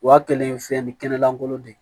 Wa kelen fɛn ni kɛnɛ lankolon de